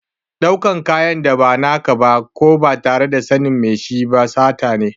Ɗaukan kayan da ba na ka ba ko ba tare da yardar mai shi ba sata ne.